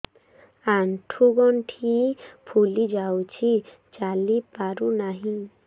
ଆଂଠୁ ଗଂଠି ଫୁଲି ଯାଉଛି ଚାଲି ପାରୁ ନାହିଁ